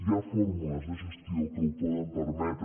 hi ha fórmules de gestió que ho poden permetre